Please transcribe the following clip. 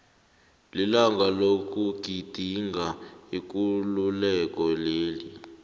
lilanga lokugidinga ikululeko leli